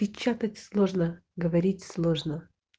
печатать сложно говорить сложно